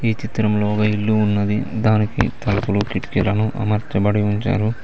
ఈ చిత్రంలో ఒక ఇల్లు ఉన్నది దానికి తలుపులు కిటికీలను అమార్చాబడి ఉంచారు.